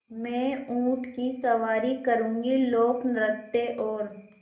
मैं ऊँट की सवारी करूँगी लोकनृत्य और